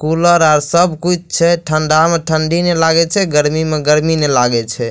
Cooler आर सब कुछ छै ठंडा में ठंडी नई लागे छै गर्मी में गर्मी नई लागे छै।